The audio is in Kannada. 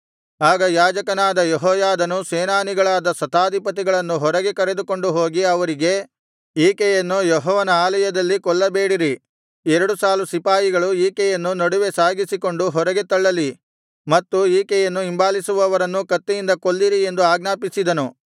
ಆಗ ಯಾಜಕನಾದ ಯೆಹೋಯಾದನು ಸೇನಾನಿಗಳಾದ ಶತಾಧಿಪತಿಗಳನ್ನು ಹೊರಗೆ ಕರೆದುಕೊಂಡು ಹೋಗಿ ಅವರಿಗೆ ಈಕೆಯನ್ನು ಯೆಹೋವನ ಆಲಯದಲ್ಲಿ ಕೊಲ್ಲಬೇಡಿರಿ ಎರಡು ಸಾಲು ಸಿಪಾಯಿಗಳು ಈಕೆಯನ್ನು ನಡುವೆ ಸಾಗಿಸಿಕೊಂಡು ಹೊರಗೆ ತಳ್ಳಲಿ ಮತ್ತು ಈಕೆಯನ್ನು ಹಿಂಬಾಲಿಸುವವರನ್ನು ಕತ್ತಿಯಿಂದ ಕೊಲ್ಲಿರಿ ಎಂದು ಆಜ್ಞಾಪಿಸಿದನು